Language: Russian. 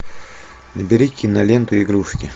набери киноленту игрушки